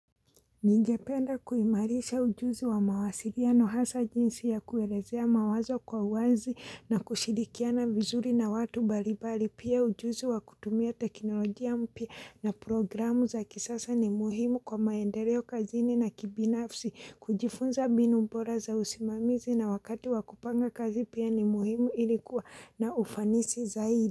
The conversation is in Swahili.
Ningependa kuimarisha ujuzi wa mawasiiano hasa jinsi ya kuelezea mawazo kwa uwazi na kushirikiana vizuri na watu mbalimbali pia ujuzi wa kutumia teknolojia mpya na programu za kisasa ni muhimu kwa maendeleo kazini na kibinafsi kujifunza mbinu bora za usimamizi na wakati wa kupanga kazi pia ni muhimu ili kuwa na ufanisi zaidi.